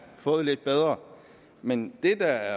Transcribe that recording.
fået lidt bedre men det der